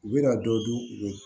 U bɛna dɔ di u